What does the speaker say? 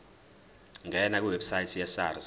ngena kwiwebsite yesars